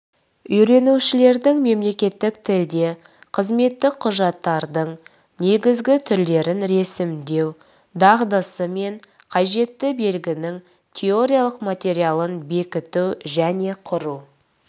үйренушілердің мемлекеттік тілде қызметтік құжаттардың негізгі түрлерін ресімдеу дағдысы мен қажетті білігінің теориялық материалын бекіту және құру